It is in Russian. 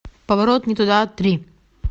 поворот не туда три